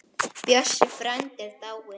Bjössi frændi er dáinn.